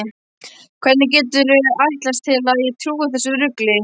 Hvernig geturðu ætlast til að ég trúi þessu rugli?